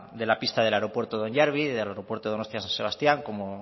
de la pista del aeropuerto de hondarribia del aeropuerto de donostia san sebastián como